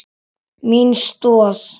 Mín stoð.